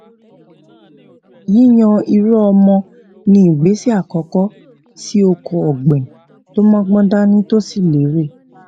yíyan irúọmọ ni ìgbésè àkọkọ sí oko ògbìn tó mógbón dání tó sì lérè